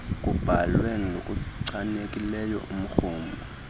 kubalwe ngokuchanekileyo umrhumo